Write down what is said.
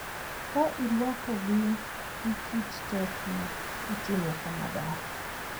Ka irwakogi gi kit tet ma otimo kamadar.